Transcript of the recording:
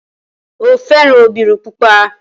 O fẹ́ran obìnrin pupa.